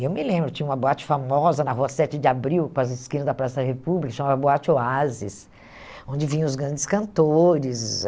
E eu me lembro, tinha uma boate famosa na Rua sete de Abril, com as esquinas da Praça da República, chamava Boate Oasis, onde vinham os grandes cantores.